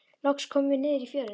Loks komum við niður í fjöruna.